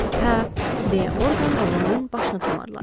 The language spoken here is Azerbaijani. Hə, deyə Orqan oğlanın başına tumarladı.